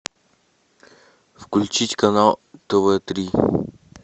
включить канал тв три